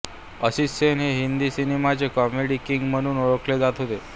असित सेन हे हिंदी सिनेमांचे comedy king म्हणून ओळखले जात होते